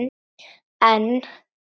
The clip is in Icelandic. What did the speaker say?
En